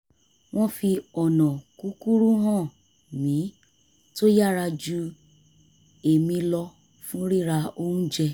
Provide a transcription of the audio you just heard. wọ́n fi ọ̀nà kúkúrú hàn mi tó yára ju èmi lọ fún rira oúnjẹ